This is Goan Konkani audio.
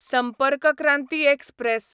संपर्क क्रांती एक्सप्रॅस